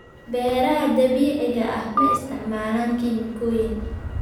Beeraha dabiiciga ah ma isticmaalaan kiimikooyin.